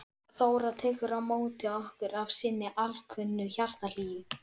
Þóra tekur á móti okkur af sinni alkunnu hjartahlýju.